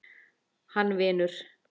Hann vinur.